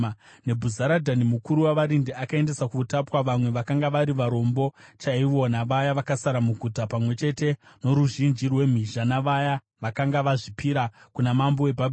Nebhuzaradhani mukuru wavarindi akaendesa kuutapwa vamwe vakanga vari varombo chaivo navaya vakasara muguta, pamwe chete noruzhinji rwemhizha navaya vakanga vazvipira kuna mambo weBhabhironi.